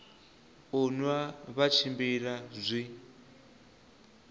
u nwa vha tshimbila zwi